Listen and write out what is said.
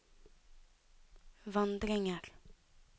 vandringer